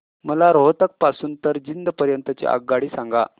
मला रोहतक पासून तर जिंद पर्यंत ची आगगाडी सांगा